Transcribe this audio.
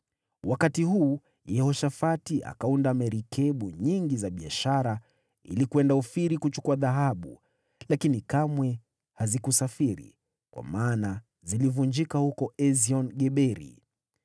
Wakati huu Yehoshafati akaunda merikebu nyingi za biashara ili kwenda Ofiri kuchukua dhahabu, lakini kamwe hazikusafiri, kwa maana zilivunjika huko Esion-Geberi.